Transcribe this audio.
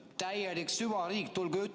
Täielik süvariik!